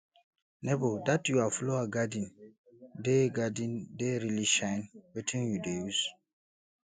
nebor dat your flower garden dey garden dey really shine wetin you dey use